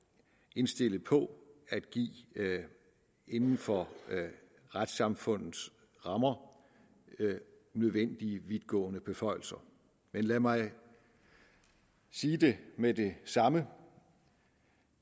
indstillet på at give inden for retssamfundets rammer nødvendige vidtgående beføjelser men lad mig sige det med det samme